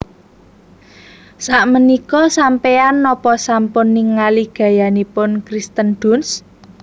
Sakmenika sampean nopo sampun ningali gayanipun Kirsten Dunst?